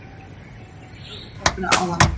Það var í útvarpinu áðan